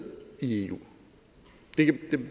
i eu